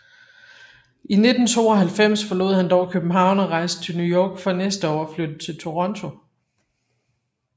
I 1992 forlod han dog København og rejste til New York for næste år at flytte til Toronto